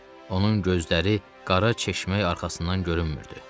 Onun gözləri qara çeşmək arxasından görünmürdü.